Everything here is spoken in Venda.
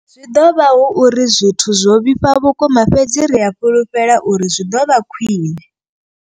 Zwi ḓo vha hu uri zwithu zwo vhifha vhukuma, fhedzi ri a fhulufhela uri zwi ḓo vha khwiṋe.